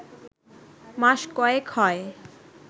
মাস কয়েক হয়